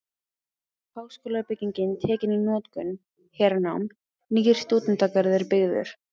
Háskólabyggingin tekin í notkun- Hernám- Nýr stúdentagarður byggður.